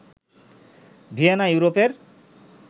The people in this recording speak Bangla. ভিয়েনা ইউরোপের